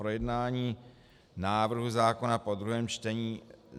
projednání návrhu zákona po druhém čtení: